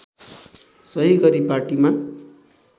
सही गरी पार्टीमा